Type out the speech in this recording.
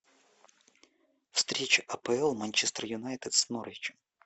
встреча апл манчестер юнайтед с норвичем